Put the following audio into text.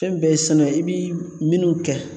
Fɛn bɛɛ ye san nɔ, ye i bi minnu kɛ